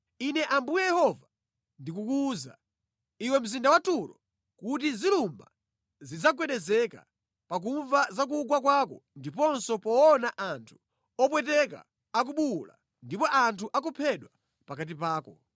“Ine Ambuye Yehova ndikukuwuza, iwe mzinda wa Turo, kuti zilumba zidzagwedezeka pakumva za kugwa kwako ndiponso poona anthu opweteka akubuwula ndipo anthu akuphedwa pakati pako.